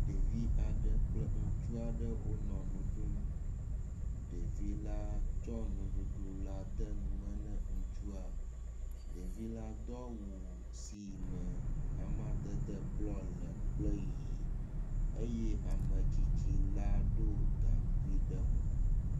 Ɖevi aɖe kple ŋutsu aɖe wonɔ nuɖum, ɖevi la tsɔ nuɖuɖu la de nume na ŋutsua. Ɖevi la do awu si me amadede bluɔ le kple ɣi eye ametsitsi la ɖɔ gaŋkui ɖe mo.